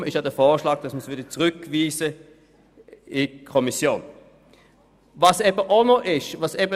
Deshalb bitten wir darum, diesen Antrag in die Kommission zurückzuweisen.